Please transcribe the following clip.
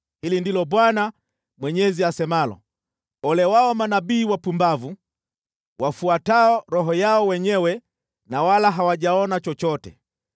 Hili ndilo Bwana Mwenyezi asemalo: Ole wao manabii wapumbavu wafuatao roho yao wenyewe na wala hawajaona chochote!